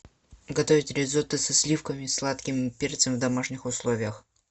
готовить ризотто со сливками и сладким перцем в домашних условиях